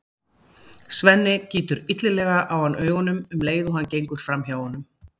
Svenni gýtur illilega á hann augunum um leið og hann gengur fram hjá honum.